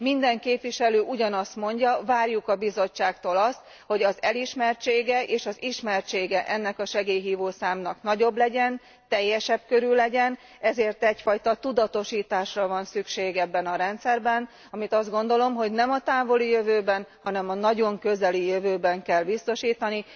Minden képviselő ugyanazt mondja várjuk a Bizottságtól azt, hogy az elismertsége és az ismertsége ennek a segélyhívó számnak nagyobb legyen, teljesebb körű legyen, ezért egyfajta tudatosításra van szükség ebben a rendszerben, amit azt gondolom, hogy nem a távoli jövőben, hanem a nagyon közeli jövőben kell biztosítani.